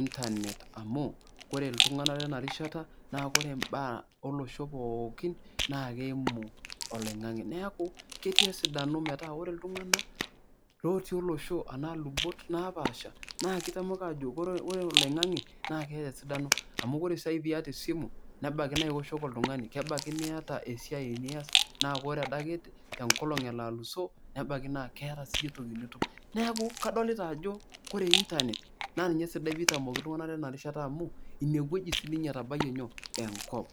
internet amuore iltungank lenarishata naa ore imbaaele osho pookin naa keimu oloingange. niaku ketii esidano metaa ore iltunganak lotii olosho anaaa ilubot naapasha naa kitamoki ajokiore oloingange naa keeta esidano. amu ore sai piata esimu nebaiki naa iwoshoki oltungani .kebaiki niata esiaai nias , naa ore adake elo enkolong alusoo nebaiki naa keeta sii entoki siiyie entoki nitum .niaku kadoliata ajo ore inernet naa kesidai tenitamoki iltunganak amu inewueji sininye etabayie nyoo , enkop.